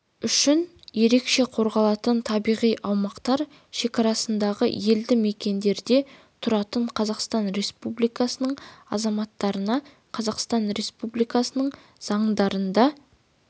үшін ерекше қорғалатын табиғи аумақтар шекарасындағы елді мекендерде тұратын қазақстан республикасының азаматтарына қазақстан республикасының заңдарында